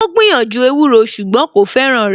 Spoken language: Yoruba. Ó gbìyànjú ewúro ṣùgbọ́n kò fẹ́ràn rẹ̀